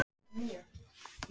Katarínus, læstu útidyrunum.